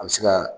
An bɛ se ka